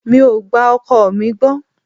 Mi ò gba ọkọ mi gbọ́.